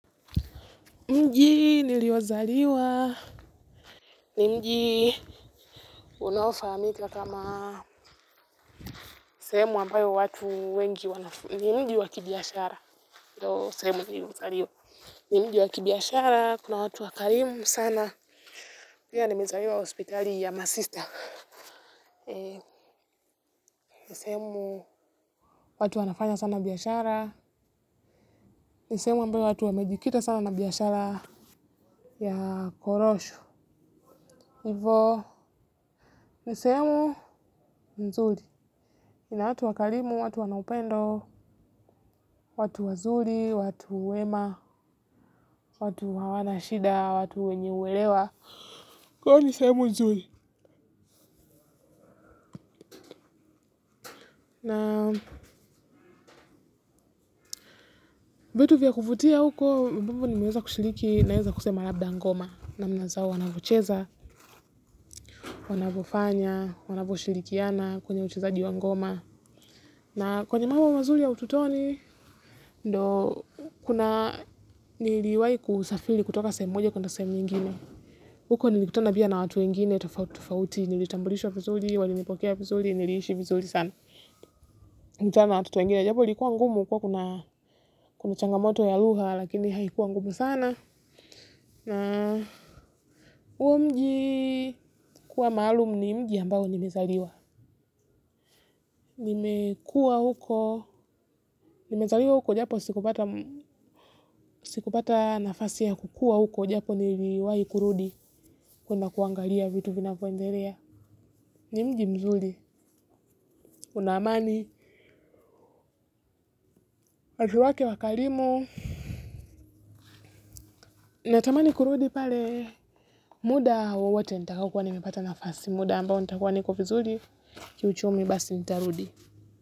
Mji niliozaliwa. Mji unaofahamika kama sehemu ambayo watu wengi wanafu. Mji wa kibiashara. Kuna watu wakarimu sana. Pia nimezaliwa hospitali ya masista. Ni sehemu watu wanafanya sana biashara. Ni sehemu ambayo watu wamejikita sana na biashara ya korosho. Hivo ni sehemu nzuri. Ina watu wakarimu, watu wana upendo, watu wazuri, watu wema, watu hawana shida, watu wenye uelewa. Kwa hivyo ni sehemu nzuri. Na vitu vya kuvutia huko, ambavyo nimeweza kushiriki naweza kusema labda ngoma. Namna zao wanavyocheza, wanavyofanya, wanavyoshirikiana, kwenye uchezaji wa ngoma. Na kwenye mambo mazuri ya utotoni, ndio kuna niliwahi kusafiri kutoka sehemu moja kuenda sehemu nyingine. Huko nilikutana pia na watu wengine tofauti tofauti, nilitambulishwa vizuri, walinipokea vizuri, niliishi vizuri sana. Nilikutana na watoto wengine, japo likuwa ngumu kwao kuna changamoto ya lugha lakini haikuwa ngumu sana. Huo mji kuwa maalumu ni mji ambao nimezaliwa. Nimezaliwa huko, japo sikupata nafasi ya kukua huko, japo niliwahi kurudi kuenda kuangalia vitu vinavyoendelea. Ni mji mzuri, una amani watu wake wakarimu natamani kurudi pale muda wowote nitakaokuwa nimepata nafasi muda ambao nitakuwa niko vizuri kiuchumi basi nitarudi.